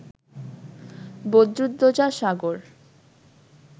Badruddoza Sagar